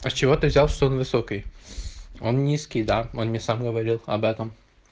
а с чего ты взял что он высокий он низкий да он мне сам говорил об этом